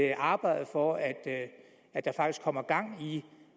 at arbejde for at at der faktisk kommer gang i